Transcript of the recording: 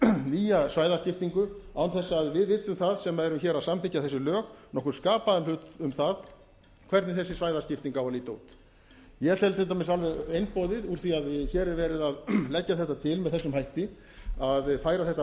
nýja svæðaskiptingu án þess að við vitum það sem erum hér að samþykkja þessi lög nokkurn skapaðan hlut um það hvernig þessi svæðaskipting á að líta út ég tel til dæmis alveg einboðið úr því að hér er verið að leggja þetta til með þessum hætti að færa þetta vald upp